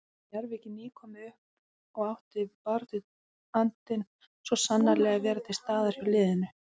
Njarðvík er nýkomið upp og ætti baráttuandinn svo sannarlega að vera til staðar hjá liðinu.